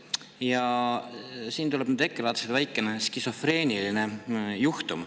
Ja siin tuleb nüüd EKRE vaates väikene skisofreeniline juhtum.